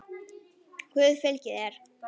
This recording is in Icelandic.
Guð fylgi þér.